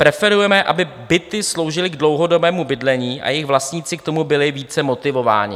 Preferujeme, aby byty sloužily k dlouhodobému bydlení a jejich vlastníci k tomu byli více motivováni.